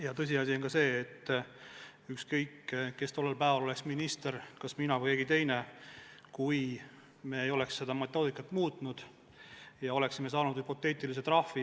Ja tõsiasi on ka see, et ükskõik, kes oleks minister, kas mina või keegi teine, kui me ei oleks seda metoodikat muutnud, siis me oleksime hüpoteetiliselt saanud trahvi.